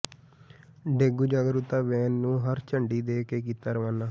dengue ਜਾਗਰੂਕਤਾ van ਨੰੂ ਹਰੀ ਝੰਡੀ ਦੇ ਕੇ ਕੀਤਾ ਰਵਾਨਾ